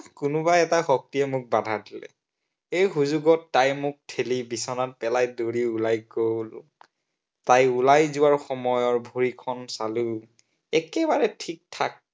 কোনোবা এটা শক্তিয়ে মোক বাধা দিলে। এই সুযোগত তাই মোক ঠেলি বিচনাত পেলাই দৌৰি ওলাই গল। তাই ওলাই যোৱাৰ সময়ৰ ভৰিখন চালো, একেবাৰে ঠিকঠাক।